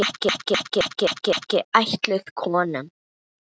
Er bókin ekki ætluð konum?